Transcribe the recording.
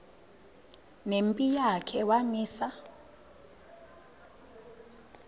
nempi yakhe wamisa